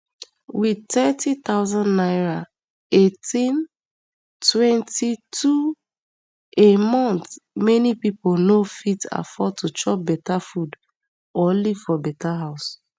wit thirty thousand naira eighteen twenty-two a month many pipo no fit afford to chop better food or live for better house